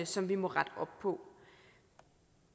som vi må rette op på